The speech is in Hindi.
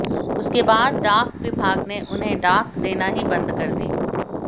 उसके बाद डाक विभाग ने उन्हें डाक देनी ही बंद कर दी